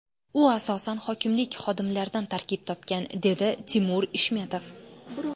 U asosan hokimlik xodimlaridan tarkib topgan, dedi Timur Ishmetov.